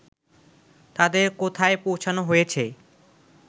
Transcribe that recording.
তাদের কোথায় পৌঁছোনো হয়েছে